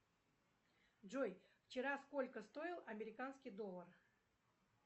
джой вчера сколько стоил американский доллар